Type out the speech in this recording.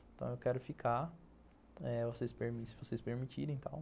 Então, eu quero ficar, eh, se vocês permitirem e tal.